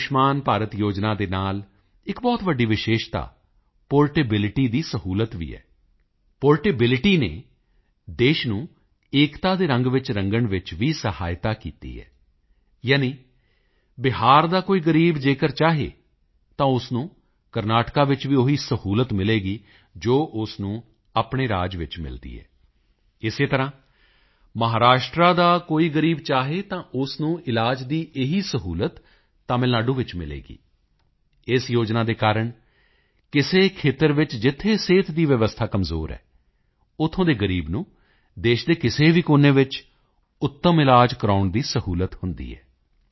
ਆਯੁਸ਼ਮਾਨ ਭਾਰਤ ਯੋਜਨਾ ਦੇ ਨਾਲ ਇੱਕ ਬਹੁਤ ਵੱਡੀ ਵਿਸ਼ੇਸ਼ਤਾ ਪੋਰਟੇਬਿਲਟੀ ਦੀ ਸਹੂਲਤ ਵੀ ਹੈ ਪੋਰਟੇਬਿਲਟੀ ਦੇਸ਼ ਨੂੰ ਏਕਤਾ ਦੇ ਰੰਗ ਵਿੱਚ ਰੰਗਣ ਵਿੱਚ ਵੀ ਸਹਾਇਤਾ ਕੀਤੀ ਹੈ ਯਾਨੀ ਬਿਹਾਰ ਦਾ ਕੋਈ ਗ਼ਰੀਬ ਅਗਰ ਚਾਹੇ ਤਾਂ ਉਸ ਨੂੰ ਕਰਨਾਟਕਾ ਵਿੱਚ ਵੀ ਉਹੀ ਸਹੂਲਤ ਮਿਲੇਗੀ ਜੋ ਉਸ ਨੂੰ ਆਪਣੇ ਰਾਜ ਵਿੱਚ ਮਿਲਦੀ ਹੈ ਇਸੇ ਤਰ੍ਹਾਂ ਮਹਾਰਾਸ਼ਟਰ ਦਾ ਕੋਈ ਗ਼ਰੀਬ ਚਾਹੇ ਤਾਂ ਉਸ ਨੂੰ ਇਲਾਜ ਦੀ ਇਹੀ ਸਹੂਲਤ ਤਮਿਲਨਾਡੂ ਵਿੱਚ ਮਿਲੇਗੀ ਇਸ ਯੋਜਨਾ ਦੇ ਕਾਰਣ ਕਿਸੇ ਖੇਤਰ ਵਿੱਚ ਜਿੱਥੇ ਸਿਹਤ ਦੀ ਵਿਵਸਥਾ ਕਮਜ਼ੋਰ ਹੈ ਉੱਥੋਂ ਦੇ ਗ਼ਰੀਬ ਨੂੰ ਦੇਸ਼ ਦੇ ਕਿਸੇ ਵੀ ਕੋਨੇ ਵਿੱਚ ਉੱਤਮ ਇਲਾਜ ਕਰਵਾਉਣ ਦੀ ਸਹੂਲਤ ਹੁੰਦੀ ਹੈ